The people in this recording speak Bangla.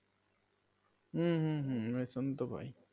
উম হম হম রেশন তো পাই